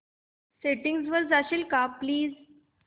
settings वर जाशील का प्लीज